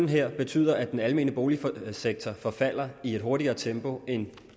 her kø betyder at den almene boligsektor forfalder i et hurtigere tempo end